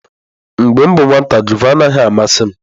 Mgbe m bụ nwata, gụva anaghị amasị m.